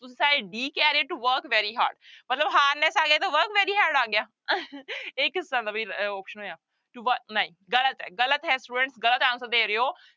ਤੁਸੀਂ ਸਾਰੇ d ਕਹਿ ਰਹੇ to work very hard ਮਤਲਬ harness ਆ ਗਿਆ ਤਾਂ work very hard ਆ ਗਿਆ ਇਹ ਕਿਸ ਤਰ੍ਹਾਂ ਦਾ ਬਈ ਅਹ option ਹੋਇਆ to ਵ ਨਹੀਂ ਗ਼ਲਤ ਹੈ ਗ਼ਲਤ ਹੈ student ਗ਼ਲਤ answer ਦੇ ਰਹੇ ਹੋ।